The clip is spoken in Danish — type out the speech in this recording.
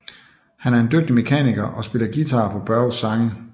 Han er en dygtig mekaniker og spiller guitar på Börjes sange